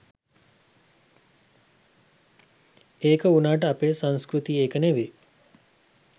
ඒක වුනාට අපේ සංස්කෘතිය ඒක නෙවි